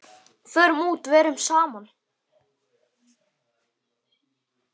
Förum út, verum saman.